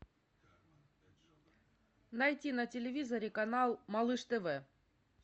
найти на телевизоре канал малыш тв